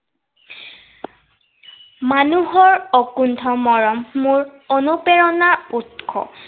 মানুহৰ অকুণ্ঠ মৰম মোৰ অনুপ্ৰেৰণাৰ উৎস।